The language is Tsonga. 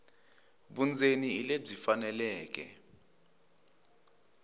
vundzeni hi lebyi faneleke